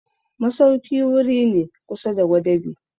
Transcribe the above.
masauki wuri ne kusa da gwadabe.